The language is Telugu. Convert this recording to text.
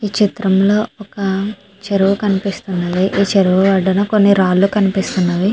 ఈ చిత్రం లో ఒక చెరువు కనిపిస్తున్నది చెరువు ఒడ్డున కొన్ని రాళ్ళు కనిపిస్తున్నవి.